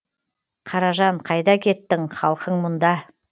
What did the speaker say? қаражан қайда кеттің халкың мұнда